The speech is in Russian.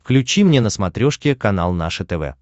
включи мне на смотрешке канал наше тв